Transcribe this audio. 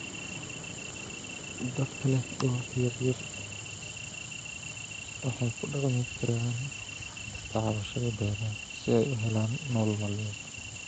Dadka leh dhulalka yaryar waxay kudhaqmi karaan tacbashada beeraha siay u helaan nolol maalmeed.